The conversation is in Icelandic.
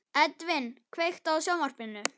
Edvin, kveiktu á sjónvarpinu.